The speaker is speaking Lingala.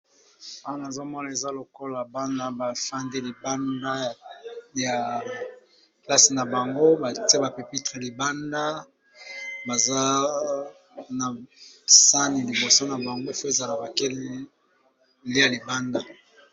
Awa nazomona eza lokola bana bafandi libanda ya plase na bang,o batiye bapepitre, libanda baza na sani liboso na bango efo ezala bake koliya libanda.